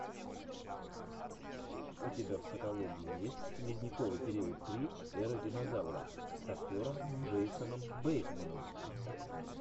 у тебя в каталоге есть ледниковый период три эра динозавров с актером джейсоном бейтманом